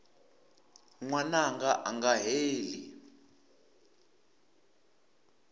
n wananga a nga heli